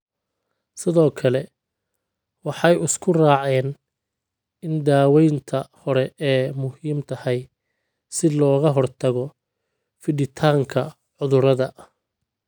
Sidoo kale, waxay isku raaceen in daawaynta hore ay muhiim tahay si looga hortago fiditaanka cudurrada.